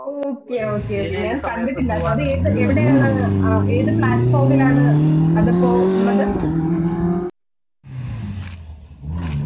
okey okay okey ഞാൻ കണ്ടിട്ടില്ല അത് ഏത് platform ൽ ആണ് അതിപ്പോ ഉള്ളത്